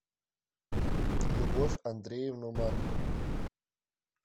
любовь андреевну маркову